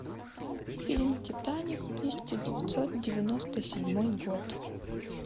фильм титаник тысяча девятьсот девяносто седьмой год